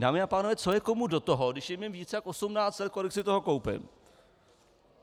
Dámy a pánové, co je komu do toho, když je mi víc jak 18 let, kolik si toho koupím?